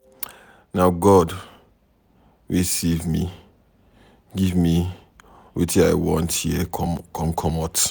Na God wey save me give me wetin I want here come comot.